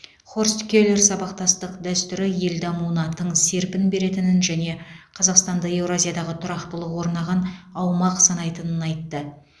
хорст келер сабақтастық дәстүрі ел дамуына тың серпін беретінін және қазақстанды еуразиядағы тұрақтылық орнаған аумақ санайтынын айтты